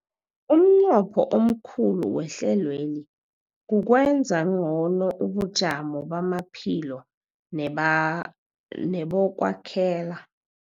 Umnqopho omkhulu wehlelweli kukwenza ngcono ubujamo bamaphilo neba nebokwakhela